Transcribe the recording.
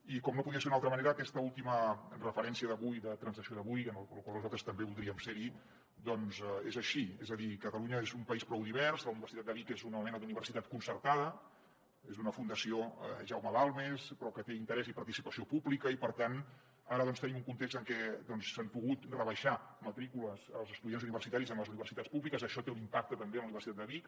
i com no podia ser d’una altra manera aquesta última referència d’avui de transacció d’avui en la qual nosaltres també voldríem ser hi doncs és així és a dir catalunya és un país prou divers la universitat de vic és una mena d’universitat concertada és d’una fundació jaume balmes però que té interès i participació pública i per tant ara tenim un context en què s’han pogut rebaixar matrícules als estudiants universitaris en les universitats públiques i això té un impacte també en la universitat de vic